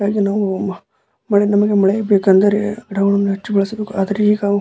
ಹಾಗೆ ನಾವ್ ವ ಅ ನಮಗೆ ಮಳೆಯೂ ಹೆಚ್ಚ್ ಬೇಕೆಂದರೆ ಗಿಡವನ್ನು ಹೆಚ್ಚು ಬೆಳಿಸ್ಬೇಕು ಆದ್ರೆ ಈಗ ನಾವು--